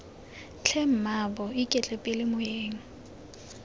tlhe mmaabo iketle pele moeng